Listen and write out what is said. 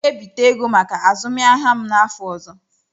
M ga-ebite ego maka azụmahịa m n'afọ ọzọ.